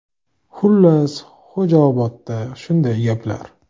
Xullas, Xo‘jaobodda shunday gaplar.